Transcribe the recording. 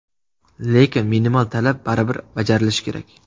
Lekin minimal talab baribir bajarilishi kerak.